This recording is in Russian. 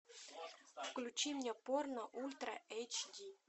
включи мне порно ультра эйч ди